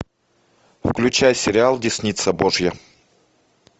включай сериал десница божья